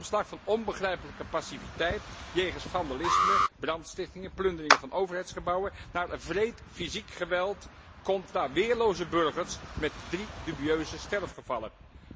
Een omslag van onbegrijpelijke passiviteit jegens vandalisme, brandstichtingen en plunderingen van overheidsgebouwen naar wreed fysiek geweld tegen weerloze burgers, met drie dubieuze sterfgevallen.